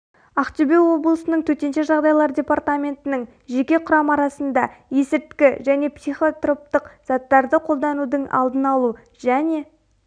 ақтөбе облысының төтенше жағдайлар департаментінің жеке құрам арасында есірткі және психотроптық заттарды қолданудың алдын алу және